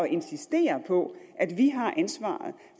insistere på at vi har ansvaret